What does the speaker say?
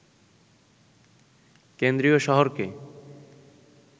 কেন্দ্রীয় শহরকে